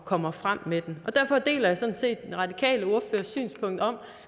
kommer frem med den derfor deler jeg sådan set den radikale ordførers synspunkt om